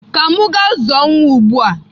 Ka m gaa zụọ nwa ugbu a.